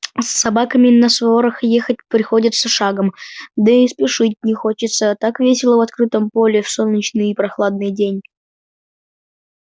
с собаками на сворах ехать приходится шагом да и спешить не хочется так весело в открытом поле в солнечный и прохладный день